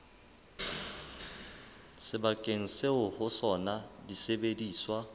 sebakeng seo ho sona disebediswa